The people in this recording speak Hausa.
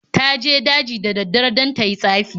Ta je daji da daddare don ta yi tsafi.